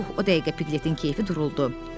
Pux, o dəqiqə Piqletin keyfi duruldu.